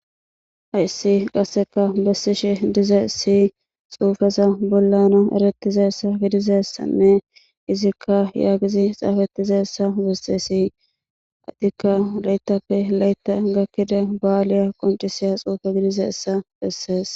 Hayssi qasseka bessishe diza siy xuufeza bollana erettizaessa gidizassanne izikka yaagizi xaafettizaessa besesii attikka layttappe laytta gakkida ba'aaliya qoncisiya xuufe gidiza essa bessees